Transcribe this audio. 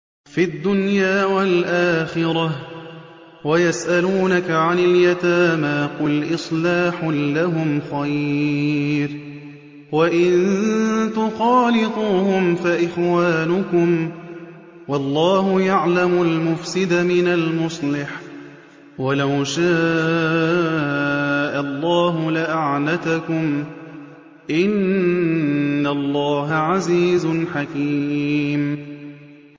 فِي الدُّنْيَا وَالْآخِرَةِ ۗ وَيَسْأَلُونَكَ عَنِ الْيَتَامَىٰ ۖ قُلْ إِصْلَاحٌ لَّهُمْ خَيْرٌ ۖ وَإِن تُخَالِطُوهُمْ فَإِخْوَانُكُمْ ۚ وَاللَّهُ يَعْلَمُ الْمُفْسِدَ مِنَ الْمُصْلِحِ ۚ وَلَوْ شَاءَ اللَّهُ لَأَعْنَتَكُمْ ۚ إِنَّ اللَّهَ عَزِيزٌ حَكِيمٌ